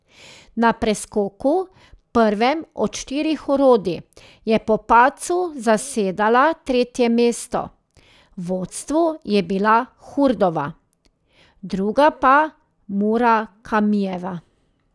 Na preskoku, prvem od štirih orodij, je po padcu zasedala tretje mesto, v vodstvu je bila Hurdova, druga pa Murakamijeva.